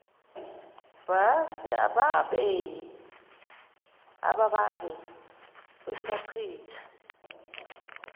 bhasi ababange besachitha